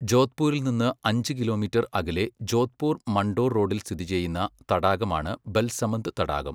ജോധ്പൂരിൽ നിന്ന് അഞ്ച് കിലോമീറ്റർ അകലെ ജോധ്പൂർ മണ്ടോർ റോഡിൽ സ്ഥിതി ചെയ്യുന്ന തടാകമാണ് ബൽസമന്ദ് തടാകം.